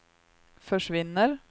försvinner